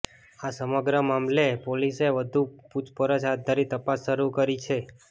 આ સમગ્ર મામલે પોલિસએ વધુ પૂછપરછ હાથ ધરી તપાસ શરૂ કરી છે